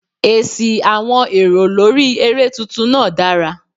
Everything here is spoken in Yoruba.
Èsì àwọn èrò lórí eré tuntun náà dára.